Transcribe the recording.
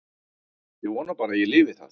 Ég vona bara að ég lifi það.